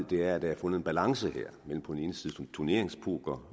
ved er at der er fundet en balance mellem på den ene side turneringspoker